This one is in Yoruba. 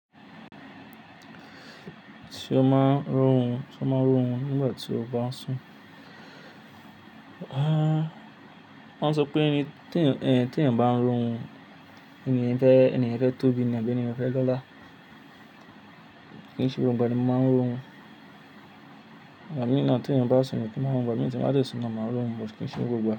Ti o máa ń ró run, ti o máa ń rórun nígbà tí o bá ń sùn. Wọ́n sọ pé tí ènì ti eniyan bá ń rórun, enìyẹn fẹ́ eniyen fe tóbi ni àbí enìyẹn fẹ́ lọ́lá. Kì í ṣe gbogbo ẹni bá máa ń rórun, ìgbà míì náà tí ènìyàn bá ń sùn ní kì í má rórun, mi ò tì í bá ti sùn lọ máa rórun, mo kì í ṣe gbogbo ìgbà.